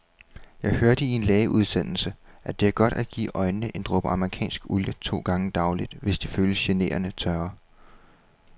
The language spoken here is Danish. Jeg hørte i en lægeudsendelse, at det er godt at give øjnene en dråbe amerikansk olie to gange daglig, hvis de føles generende tørre.